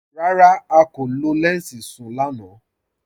Rárá, à kò lọ lẹnsí sún-un lànà.